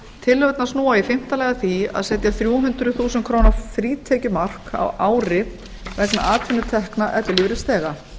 tillögurnar snúa í fimmta lagi að því að setja þrjú hundruð þúsund króna frítekjumark á ári vegna atvinnutekna ellilífeyrisþega